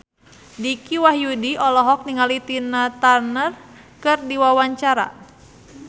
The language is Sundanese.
Dicky Wahyudi olohok ningali Tina Turner keur diwawancara